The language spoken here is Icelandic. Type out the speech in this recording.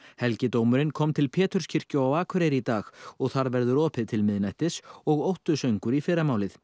helgidómurinn kom til Péturskirkju á Akureyri í dag og þar verður opið til miðnættis og óttusöngur í fyrramálið